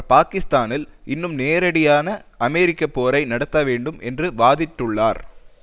பாக்கிஸ்தானில் இன்னும் நேரடியான அமெரிக்க போரை நடத்த வேண்டும் என்ற வாதிட்டுள்ளார்